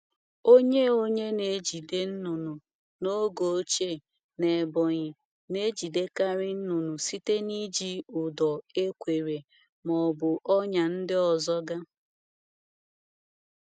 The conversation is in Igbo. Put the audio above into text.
Onye Onye na-ejide nnụnụ n’oge ochie na Ebonyi na-ejidekarị nnụnụ site n’iji ụdọ ekwere ma ọ bụ ọnya ndị ọzọga.